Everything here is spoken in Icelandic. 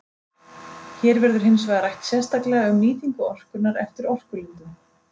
Hér verður hins vegar rætt sérstaklega um nýtingu orkunnar eftir orkulindum.